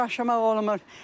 Ona da daşımaq olmur.